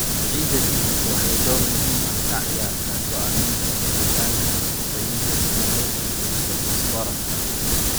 Ciidda pH waxay door muhiim ah ka ciyaartaa go'aaminta helitaanka nafaqooyinka sida nitrogen iyo fosfooraska.